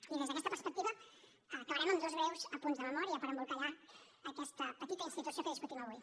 i des d’aquesta perspectiva acabarem amb dos breus apunts de memòria per embolcallar aquesta petita institució que discutim avui